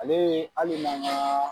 Ale hali n'an ga